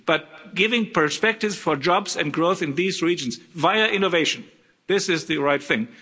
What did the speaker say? But giving perspectives for jobs and growth in these regions via innovation this is the right thing.